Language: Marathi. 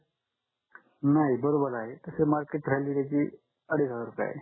नाही बरोबर आहे तस त्याची मार्केट व्हॅल्यू अडीच हजार रुपये आहे